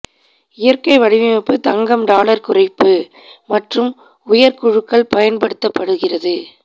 இயற்கை வடிவமைப்பு தங்கம் டாலர் குறைப்பு மற்றும் உயர் குழுக்கள் பயன்படுத்தப்படுகிறது